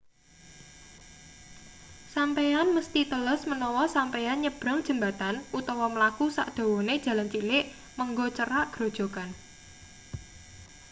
sampeyan mesthi teles menawa sampeyan nyebrang jembatan utawa mlaku sadawane dalan cilik menggok cerak grojogan